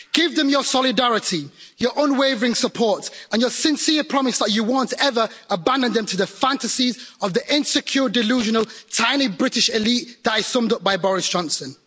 Give them your solidarity, your unwavering support and your sincere promise that you won't ever abandoned them to the fantasies of the insecure, delusional, tiny British elite that is summed up by Boris Johnson.